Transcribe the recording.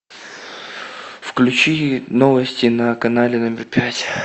включи новости на канале номер пять